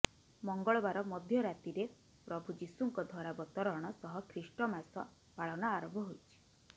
ମଙ୍ଗଳବାର ମଧ୍ୟରାତିରେ ପ୍ରଭୁ ଯୀଶୁଙ୍କ ଧରାବତରଣ ସହ ଖ୍ରୀଷ୍ଟ ମାସ ପାଳନ ଆରମ୍ଭ ହୋଇଛି